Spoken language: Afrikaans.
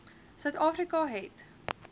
suid afrika het